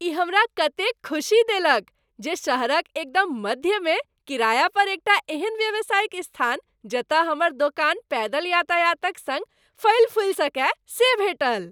ई हमरा कतेक ख़ुशी देलक जे शहरक एकदम मध्यमे किराया पर एक टा एहन व्यावसायिक स्थान जतय हमर दोकान पैदल यातायातक सङ्ग फलिफूलि सकय से भेटल ।